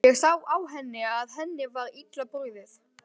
Ég sá á henni að henni var illa brugðið.